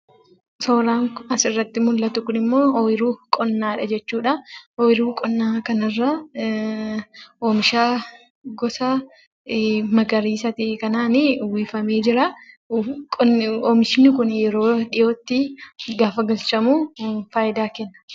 Suuraan asirratti mul'atu kunimmoo suuraa ooyiruu qonnaadha jechuudha. Ooyiruu qonnaa kanarraa, oomisha gosa magariisa ta'e kanaanii uwwifamee jira. Oomishni kun yeroo dhiyootti, gaafa galchamu fayidaa kenna.